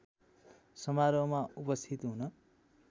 समारोहमा उपस्थित हुन